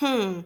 hmn